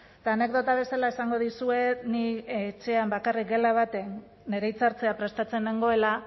eta anekdota bezala esango dizuet ni etxean bakarrik gela batean nire hitzartzea prestatzen nengoela